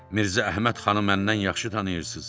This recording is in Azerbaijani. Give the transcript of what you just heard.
Mirzə Əhməd xanı məndən yaxşı tanıyırsız.